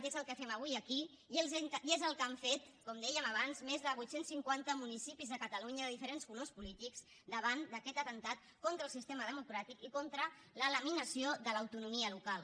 i és el que fem avui aquí i és el que han fet com dèiem abans més de vuit cents i cinquanta municipis de catalunya de diferents colors polítics davant d’aquest atemptat contra el sistema democràtic i contra la laminació de l’autonomia local